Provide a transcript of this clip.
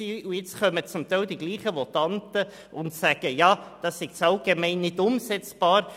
Und nun kommen zum Teil dieselben Votanten und sagen, er sei zu allgemein gehalten und nicht umsetzbar.